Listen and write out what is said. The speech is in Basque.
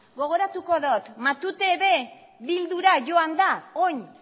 gogoratuko dot matute ere bildura joan da orain